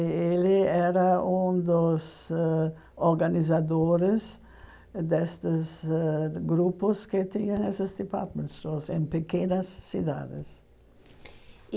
E ele era um dos ãh organizadores destes ãh grupos que tinham essas departament stores em pequenas cidades.